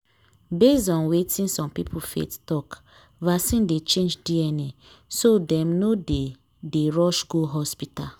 based on wetin some people faith talk vaccine dey change dna so dem no dey dey rush go hospital.